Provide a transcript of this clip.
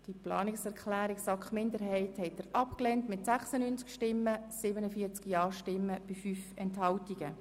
Sie haben die Planungserklärung der SAKMinderheit abgelehnt mit 96 Nein- gegen 47 Ja-Stimmen bei 5 Enthaltungen.